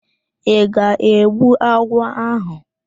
Ị ga-egbu agwọ áhụ̀?